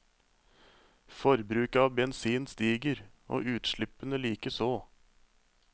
Forbruket av bensin stiger, utslippene likeså.